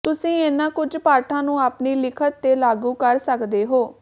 ਤੁਸੀਂ ਇਹਨਾਂ ਕੁਝ ਪਾਠਾਂ ਨੂੰ ਆਪਣੀ ਲਿਖਤ ਤੇ ਲਾਗੂ ਕਰ ਸਕਦੇ ਹੋ